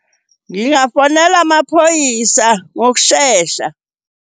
Ngingafonela amaphoyisa ngokushesha.